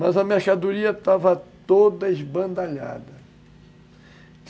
Mas a mercadoria estava toda esbandalhada.